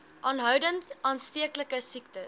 aanhoudend aansteeklike siektes